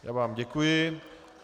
Já vám děkuji.